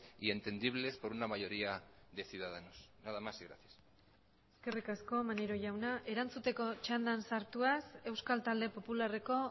y entendibles por una mayoría de ciudadanos nada más y gracias eskerrik asko maneiro jauna erantzuteko txandan sartuaz euskal talde popularreko